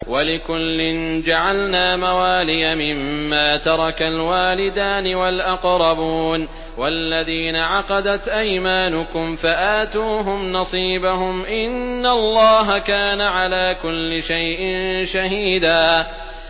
وَلِكُلٍّ جَعَلْنَا مَوَالِيَ مِمَّا تَرَكَ الْوَالِدَانِ وَالْأَقْرَبُونَ ۚ وَالَّذِينَ عَقَدَتْ أَيْمَانُكُمْ فَآتُوهُمْ نَصِيبَهُمْ ۚ إِنَّ اللَّهَ كَانَ عَلَىٰ كُلِّ شَيْءٍ شَهِيدًا